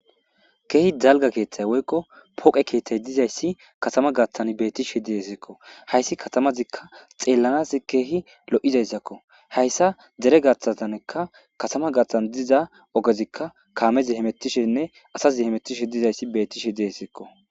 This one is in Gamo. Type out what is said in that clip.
keehi jalga keeththay woykko poqe keeththay dizayssi katama gaththan beettishee diheseekko hayssi katamazikka xeellanaz keehi lo7izayssakko hayssa dere gaththaanekka katama gaththan diza ogezikka kaamezi hemettishenne asazi hemettishe dizayssi bettishe diheseekko